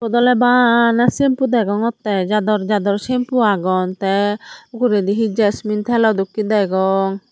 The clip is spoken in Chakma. eyot ole bana shampoo degongotte jador jador shampoo agon te ugurendi he jasmine telo dokke degong.